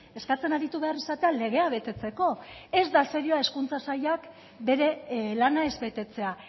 eskatzen aritu behar izatea legea betetzeko ez da serioa hezkuntza sailak bere lana ez betetzea